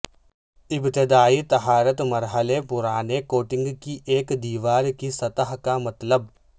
ابتدائی طہارت مرحلے پرانے کوٹنگ کی ایک دیوار کی سطح کا مطلب